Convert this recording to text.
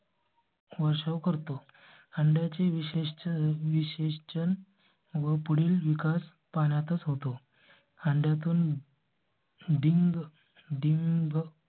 वर्षाव करतो अंड्या चे विशेष विश्लेषण पुढील विकास पाण्यातच होतो अंड्या तून. डिंग डिंग.